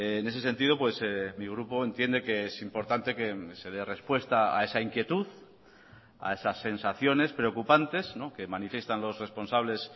en ese sentido mi grupo entiende que es importante que se dé respuesta a esa inquietud a esas sensaciones preocupantes que manifiestan los responsables